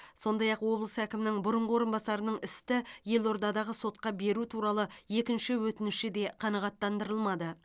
сондай ақ облыс әкімінің бұрынғы орынбасарының істі елордадағы сотқа беру туралы екінші өтініші де қанағаттандырылмады